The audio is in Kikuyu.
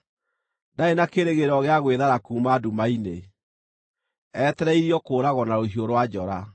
Ndarĩ na kĩĩrĩgĩrĩro gĩa gwĩthara kuuma nduma-inĩ; etereirio kũũragwo na rũhiũ rwa njora.